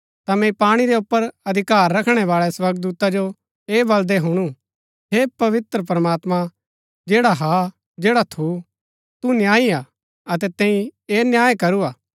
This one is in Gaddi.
ता मैंई पाणी रै ऊपर अधिकार रखणै बाळै स्वर्गदूता जो ऐह बलदै हुणु हे पवित्र प्रमात्मां जैडा हा जैडा थू तू न्यायी हा अतै तैंई ऐह न्याय करू हा